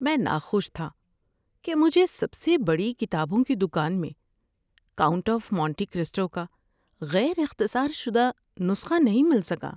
میں ناخوش تھا کہ مجھے سب سے بڑی کتابوں کی دکان میں "کاؤنٹ آف مونٹی کرسٹو" کا غیر اختصار شدہ نسخہ نہیں مل سکا۔